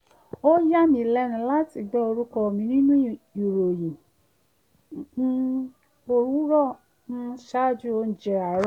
ó yàmí lẹ́nu láti gbọ́ orúkọ mi nínú ìròyìn um òwúrọ̀ um ṣaájú oúnjẹ àárọ̀